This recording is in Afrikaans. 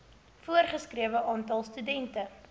voorgeskrewe aantal studente